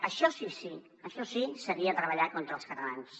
això sí que seria treballar contra els catalans